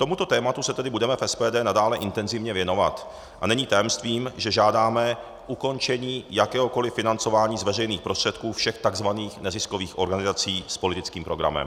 Tomuto tématu se tedy budeme v SPD nadále intenzivně věnovat a není tajemstvím, že žádáme ukončení jakéhokoliv financování z veřejných prostředků všech takzvaných neziskových organizací s politickým programem.